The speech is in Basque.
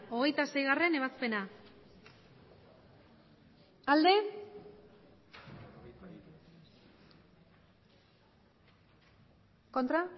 emandako botoak hirurogeita